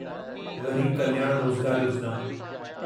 ग़रीब कल्याण रोज़गार योजिना